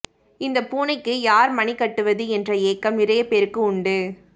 இந்தப் பூனைக்கு யார் மணி கட்டுவது என்ற ஏக்கம் நிறைய பேருக்கு உண்டு